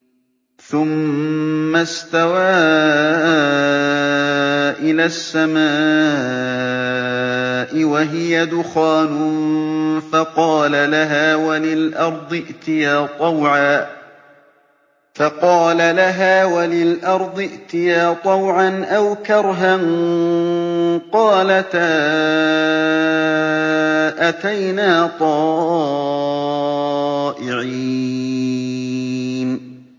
ثُمَّ اسْتَوَىٰ إِلَى السَّمَاءِ وَهِيَ دُخَانٌ فَقَالَ لَهَا وَلِلْأَرْضِ ائْتِيَا طَوْعًا أَوْ كَرْهًا قَالَتَا أَتَيْنَا طَائِعِينَ